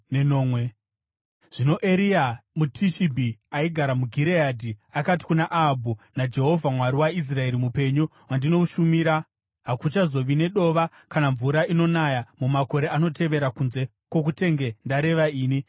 Zvino Eria muTishibhi aigara muGireadhi, akati kuna Ahabhu, “NaJehovha, Mwari waIsraeri mupenyu, wandinoshumira, hakuchazova nedova kana mvura inonaya mumakore anotevera kunze kwokutenge ndareva ini.”